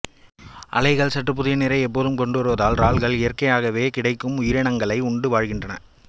அலைகள் சற்று புதிய நீரை எப்போதும் கொண்டு வருவதால் இறால்கள் இயற்கையாகவே கிடைக்கும் உயிரினங்களை உண்டு வாழ்கின்றன